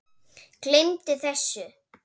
Gleymdu þessu